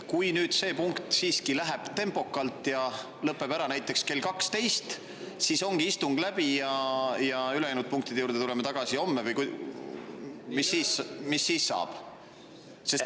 Kui nüüd selle punkti läheb siiski tempokalt ja lõpeb ära näiteks kell 12, kas siis ongi istung läbi ja ülejäänud punktide juurde me tuleme tagasi homme, või mis siis saab?